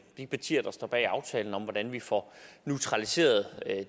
de partier der står bag aftalen og hvordan vi får neutraliseret